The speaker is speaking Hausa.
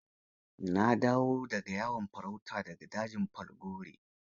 Na dawo da ga yawon farauta da ga dajin Falgore.